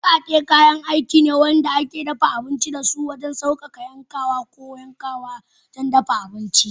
Wukake kayan aiki ne da ake amfani da su wajen sauƙaƙa yankawa da yanka yayin dafa abinci.